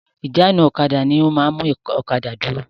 Ìjánu-ọ̀kadà ni ó máa ń mú ọ̀kadà dúró.